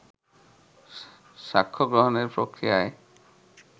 সাক্ষ্য গ্রহণের প্রক্রিয়ায়